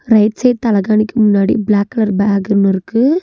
Right side தலைகானிக்கு முன்னாடி black colour bag ஒன்னு இருக்கு.